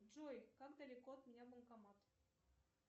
джой как далеко от меня банкомат